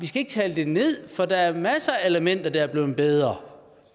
skal tale det ned for der er masser af elementer der er blevet bedre